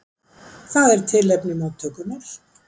Það er tilefni móttökunnar.